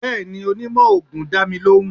bẹẹni, onímó oogun da mi lohún.